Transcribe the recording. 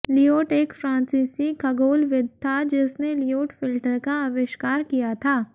Lyot एक फ्रांसीसी खगोलविद था जिसने लियोट फ़िल्टर का आविष्कार किया था